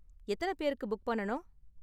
எத்தன பேருக்கு புக் பண்ணனும்?